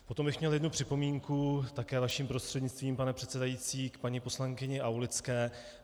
Potom bych měl jednu připomínku, také vaším prostřednictvím, pane předsedající, k paní poslankyni Aulické.